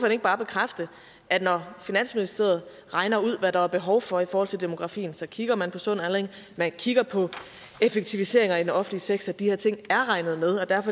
ikke bare bekræfte at når finansministeriet regner ud hvad der er behov for i forhold til demografien så kigger man på sund aldring og man kigger på effektiviseringer i den offentlige sektor de her ting